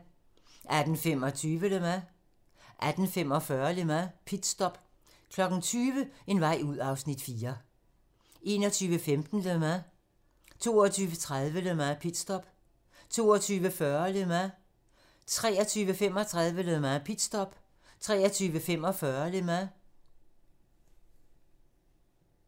18:25: Le Mans 19:45: Le Mans - pitstop 20:00: En vej ud (Afs. 4) 21:15: Le Mans 22:30: Le Mans - pitstop 22:40: Le Mans 23:35: Le Mans - pitstop 23:45: Le Mans